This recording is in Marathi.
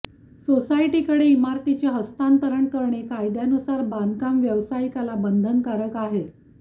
सोसायटीकडे इमारतीचे हस्तांतरण करणे कायद्यानुसार बांधकाम व्यावसायिकाला बंधनकारक आहे